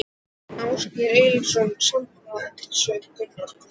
Ásgeir Erlendsson: Sammála þessu Gunnar?